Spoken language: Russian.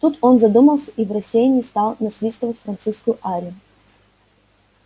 тут он задумался и в рассеянии стал насвистывать французскую арию